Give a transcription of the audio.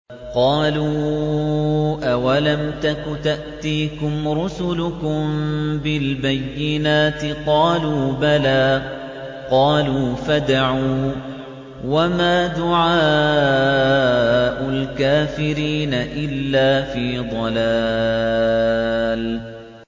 قَالُوا أَوَلَمْ تَكُ تَأْتِيكُمْ رُسُلُكُم بِالْبَيِّنَاتِ ۖ قَالُوا بَلَىٰ ۚ قَالُوا فَادْعُوا ۗ وَمَا دُعَاءُ الْكَافِرِينَ إِلَّا فِي ضَلَالٍ